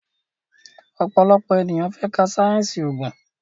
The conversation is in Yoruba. òpòlopò ènìyàn fè ká sáyẹnsì oògùn.